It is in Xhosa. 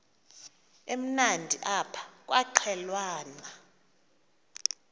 emnandi apha kwaqhelwana